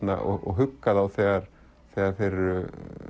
og hugga þá þegar þegar þeir eru